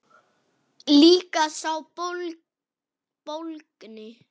Líka sá bólgni.